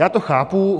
Já to chápu.